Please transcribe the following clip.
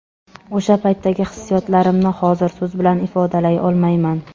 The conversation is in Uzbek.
O‘sha paytdagi hissiyotlarimni hozir so‘z bilan ifodalay olmayman.